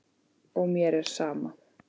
Og mér er sama.